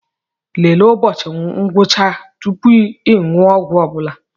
Lelee ụbọchị ngwụcha tupu ị ṅụọ ọgwụ ọbụla